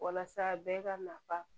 Walasa bɛɛ ka nafa